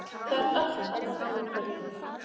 Það er allt annað umhverfi.